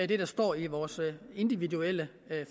det står i vores individuelle